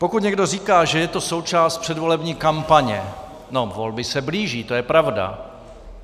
Pokud někdo říká, že je to součást předvolební kampaně - no volby se blíží, to je pravda.